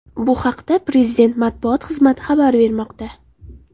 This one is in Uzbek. Bu haqda Prezident Matbuot xizmati xabar bermoqda.